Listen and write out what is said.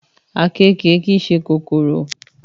Àkekèé kì í ṣe kòkòrò